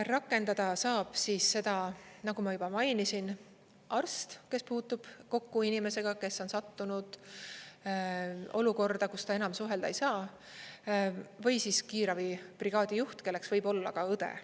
Rakendada saab siis seda, nagu ma juba mainisin, arst, kes puutub kokku inimesega, kes on sattunud olukorda, kus ta enam suhelda ei saa, või siis kiirabibrigaadi juht, kelleks võib olla ka õde.